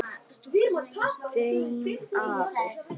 Þín og afa.